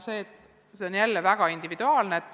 See on olnud väga individuaalne.